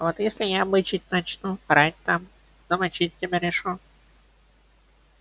а вот если я бычить начну орать там замочить тебя решу